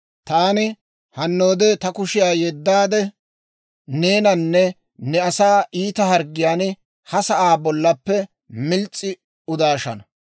Taani hannoode ta kushiyaa yeddaade, neenanne ne asaa iita harggiyaan ha sa'aa bollappe mils's'i udanashin.